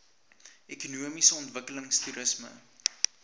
ekonomiese ontwikkeling toerisme